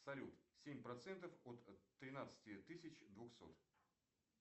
салют семь процентов от тринадцати тысяч двухсот